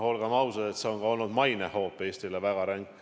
Olgem ausad, see on olnud väga ränk hoop ka Eesti mainele.